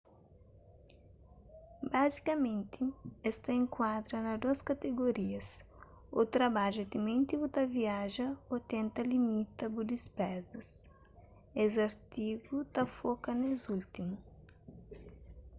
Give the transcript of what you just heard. bazikamenti es ta enkuadra na dôs kategorias ô trabadja timenti bu ta viaja ô tenta limita bu dispezas es artigu na foka nes últimu